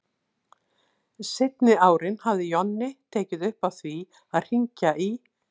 Seinni árin hafði Jonni tekið upp á því að hringja í